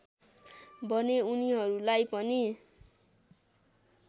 भने उनिहरूलाई पनि